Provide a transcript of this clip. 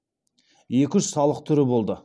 екі үш салық түрі болды